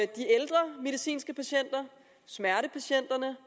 de ældre medicinske patienter smertepatienterne